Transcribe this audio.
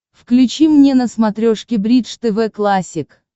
включи мне на смотрешке бридж тв классик